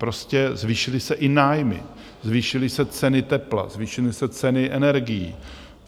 Prostě zvýšily se i nájmy, zvýšily se ceny tepla, zvýšily se ceny energií.